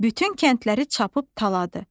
Bütün kəndləri çappıb taladı.